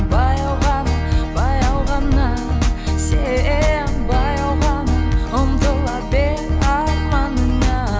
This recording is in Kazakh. баяу ғана баяу ғана сен баяу ғана ұмтыла бер арманыңа